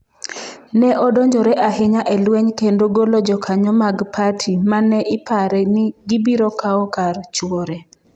Ne odonjore ahinya e lweny kendo golo jokanyo mag parti ma ne ipare ni gibiro kawo kar chwore.